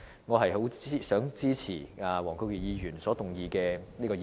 我支持黃國健議員動議的議案。